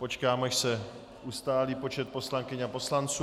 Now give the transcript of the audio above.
Počkám, až se ustálí počet poslankyň a poslanců.